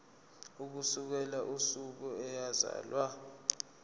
ukusukela usuku eyazalwa